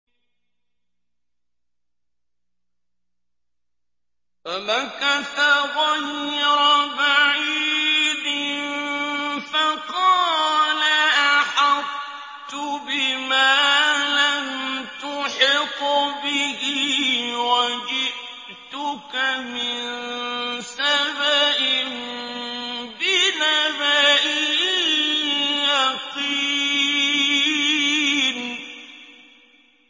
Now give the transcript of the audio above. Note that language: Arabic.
فَمَكَثَ غَيْرَ بَعِيدٍ فَقَالَ أَحَطتُ بِمَا لَمْ تُحِطْ بِهِ وَجِئْتُكَ مِن سَبَإٍ بِنَبَإٍ يَقِينٍ